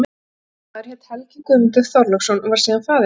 Þessi ungi maður hét Helgi Guðmundur Þorláksson og varð síðar faðir minn.